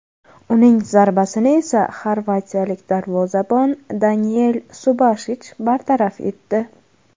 Uning zarbasini esa xorvatiyalik darvozabon Daniel Subashich bartaraf etdi.